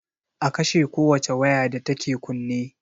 A kashe ko wace waya da take kunne